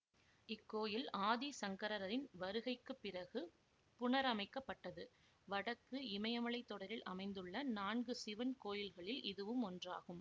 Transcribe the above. இக்கோயில் ஆதி சங்கரரின் வருகைக்கு பிறகு புனரமைக்கப்பட்டது வடக்கு இமயமலைத் தொடரில் அமைந்துள்ள நான்கு சிவன் கோயில்களில் இதுவும் ஒன்றாகும்